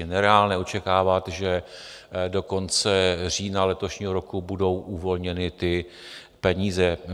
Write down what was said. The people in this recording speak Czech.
Je nereálné očekávat, že do konce října letošního roku budou uvolněny ty peníze.